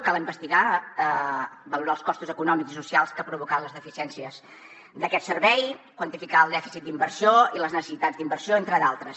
cal investigar valorar els costos econòmics i socials que han provocat les deficiències d’aquest servei quantificar el dèficit d’inversió i les necessitats d’inversió entre d’altres